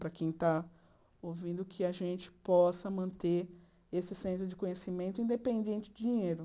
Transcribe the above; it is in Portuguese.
Para quem está ouvindo, que a gente possa manter esse centro de conhecimento independente de dinheiro.